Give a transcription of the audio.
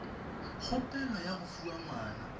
kgopelo ya go fiwa ngwana